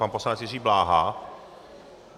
Pan poslanec Jiří Bláha.